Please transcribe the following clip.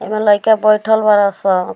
एमें लइका बइठल बाड़े सन।